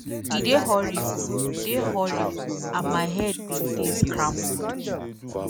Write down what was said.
e dey horrible dey horrible and my head bin dey scrambled.”